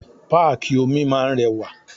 Páàkì omi máa ń rẹwà.